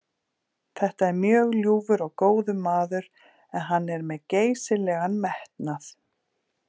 Þetta er mjög ljúfur og góður maður en hann er með geysilegan metnað.